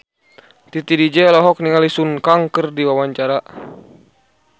Titi DJ olohok ningali Sun Kang keur diwawancara